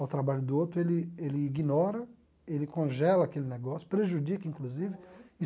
ao trabalho do outro, ele ele ignora, ele congela aquele negócio, prejudica, inclusive.